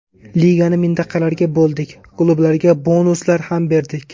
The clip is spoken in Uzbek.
Ligani mintaqalarga bo‘ldik, klublarga bonuslar ham berdik.